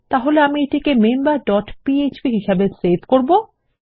তাহলে আমি এটিকে মেম্বার ডট পিএচপি হিসাবে সেভ করব